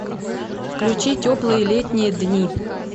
включи теплые летние дни